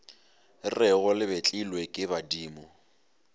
rego le betlilwe ke badimo